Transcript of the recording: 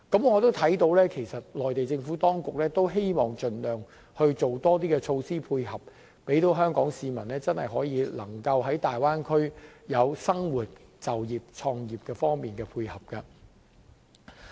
我亦看到，其實內地政府也希望盡量推出更多措施，以配合港人在大灣區生活、就業及創業。